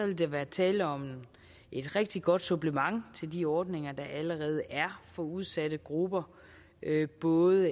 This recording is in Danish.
vil der være tale om et rigtig godt supplement til de ordninger der allerede er for udsatte grupper efter både